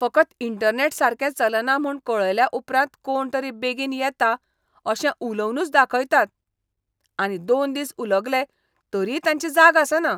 फकत इंटरनॅट सारकें चलना म्हूण कळयल्या उपरांत कोणतरी बेगीन येता अशें उलोवनूच दाखयता आनी दोन दीस उलगले तरीय तांची जाग आसना.